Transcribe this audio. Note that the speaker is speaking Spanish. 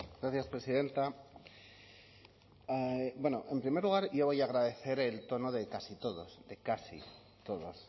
gracias presidenta bueno en primer lugar yo voy a agradecer el tono de casi todos de casi todos